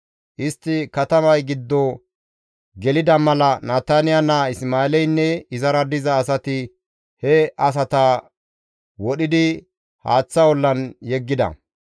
Istti katamay giddo gelida mala Nataniya naa Isma7eeleynne izara diza asati he asata wodhidi haaththa ollan yeggida.